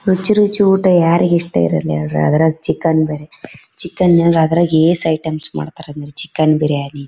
ರುಚಿ ರುಚಿ ಊಟ ಯಾರಿಗೆ ಇಷ್ಟ ಇರಲ್ಲಾ ಹೇಳ್ರಿ ಅದ್ರಲ್ಲು ಚಿಕನ್ ಬೇರೆ ಚಿಕನ್ ಅಲ್ಲಿ ಆದ್ರೆ ಎಷ್ಟ್ ಐಟಮ್ಸ್ ಮಾಡ್ತಾರೆ ಅಂದ್ರೆ ಚಿಕನ್ ಬಿರಿಯಾನಿ --